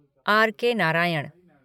R K. Narayan